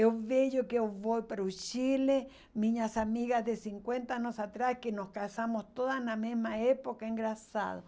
Eu vejo que eu vou para o Chile, minhas amigas de cinquenta anos atrás, que nos casamos todas na mesma época, engraçado.